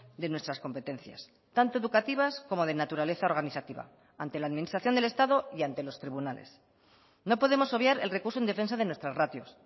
de nuestras competencias tanto educativas como de naturaleza organizativa ante la administración del estado y ante los tribunales no podemos obviar el recurso en defensa de nuestras ratios